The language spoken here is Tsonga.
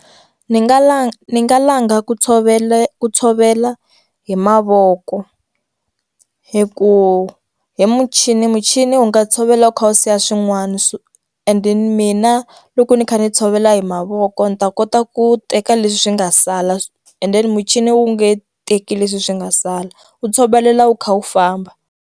Ndzi nga la ndzi nga langa ku tshovele ku tshovela hi mavoko hi ku hi muchini muchini wu nga tshovela u kha u siya swin'wana so ende mina loko ndzi kha ndzi tshovela hi mavoko ndzi ta kota ku teka leswi swi nga sala endeni muchini wu nge teki leswi swi nga sala u tshovelela wu kha wu famba.